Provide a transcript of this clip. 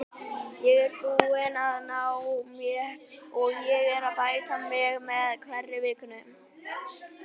Ég er búinn að ná mér og er að bæta mig með hverri vikunni.